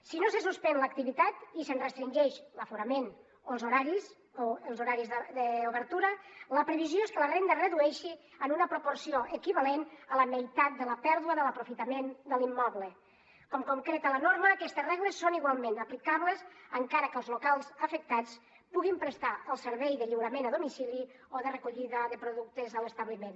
si no se suspèn l’activitat i se’n restringeix l’aforament o els horaris d’obertura la previsió és que la renda es redueixi en una proporció equivalent a la meitat de la pèrdua de l’aprofitament de l’immoble com concreta la norma aquestes regles són igualment aplicables encara que els locals afectats puguin prestar el servei de lliurament a domicili o de recollida de productes a l’establiment